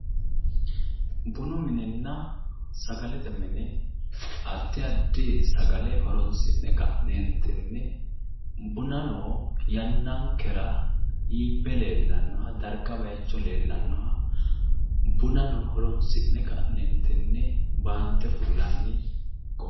Bunu minenna sagalete mine addi addi sagale horoonsi'ne ka'neentinni bunano yannankera iibbe leellannoha darga bayicho leellennoha bunano horoonsi'ne ka'neentinni baante fullanni.